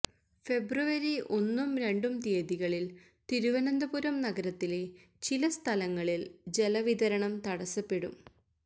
ഫെബ്രുവരി ഒന്നും രണ്ടും തീയതികളിൽ തിരുവനന്തപുരം നഗരത്തിലെ ചില സ്ഥലങ്ങളിൽ ജലവിതരണം തടസപ്പെടും